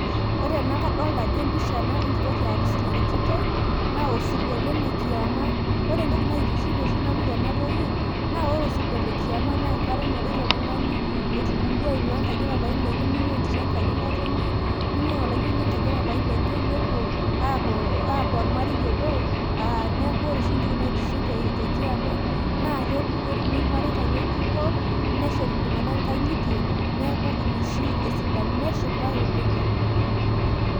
ore ena kadoolta ajo empisha enkitok e arusi narikitoi, osirua ele lekiama, ore entoki naitiship oshi nanu, tenatoki. naa ore osirua le kiama naa enkata naloito oltungani, etubulua aing'uaa enkaji epapai lenye, ning'ua entito enkaji ng'otonye. ning'ua olayioni enkaji epapai lenye nepuo, aaku ormarei obo, neeku ore oshi entoki naitiship tekiama ,naa ketumi irmareita ng'ejuko, neshet iltung'anak inkang'itie neeku na oshi esidano .neshipae oleng'.